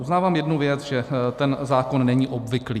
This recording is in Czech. Uznávám jednu věc, že ten zákon není obvyklý.